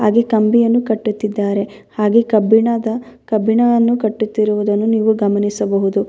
ಇಲ್ಲಿ ಮರಗಳಿವೆ ಮಣ್ಣಿನ ಗುಡ್ಡಗಳು ಕೂಡ ಇವೆ.